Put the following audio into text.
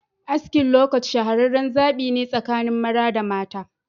Askin "lowcut" shahareren zabi ne tsakanin mara da mata.